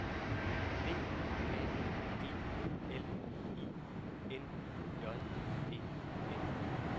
B A G L I N J E N